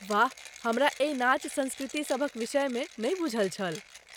वाह, हमरा एहि नाच संस्कृति सभक विषय मे नहि बूझल छल।